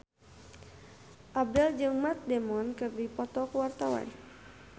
Abdel jeung Matt Damon keur dipoto ku wartawan